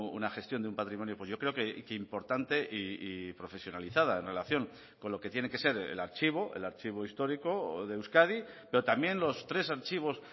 una gestión de un patrimonio yo creo que importante y profesionalizada en relación con lo que tiene que ser el archivo el archivo histórico de euskadi pero también los tres archivos